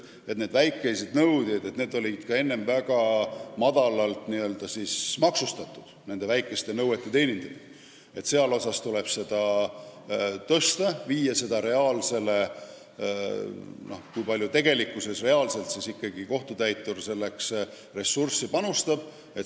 Väikeste nõuete puhul on kohtutäituri tasu olnud väga väike ja seda määra tuleb tõsta, et viia see vastavusse sellega, kui palju tegelikkuses kohtutäitur nõude puhul oma ressurssi kulutab.